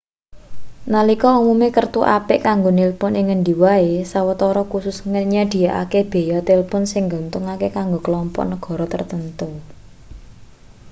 nalika umume kertu apik kanggo nilpun ing ngendi wae sawetara khusus nyedhiyakake beya tilpun sing nguntungake kanggo klompok negara tartamtu